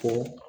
Ko